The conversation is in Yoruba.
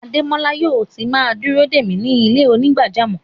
Ademọla yóò tì má dúró de mi ni ilẹ̀-onígbàjàmọ́.